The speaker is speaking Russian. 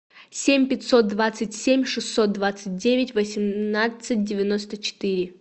семь пятьсот двадцать семь шестьсот двадцать девять восемнадцать девяносто четыре